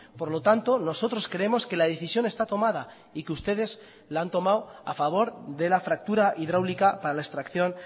por lo tanto nosotros creemos que la decisión está tomada y que ustedes la han tomado a favor de la fractura hidráulica para la extracción